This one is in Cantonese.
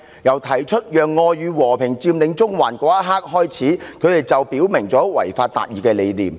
自提出"讓愛與和平佔領中環"一刻開始，他們早已表明了違法達義的理念。